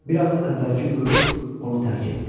Bir az əvvəlki qürur onu tərk etdi.